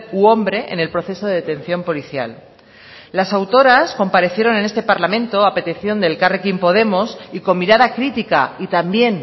u hombre en el proceso de detención policial las autoras comparecieron en este parlamento a petición de elkarrekin podemos y con mirada crítica y también